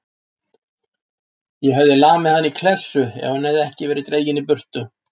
Ég hefði lamið hann í klessu ef hann hefði ekki verið dreginn í burtu.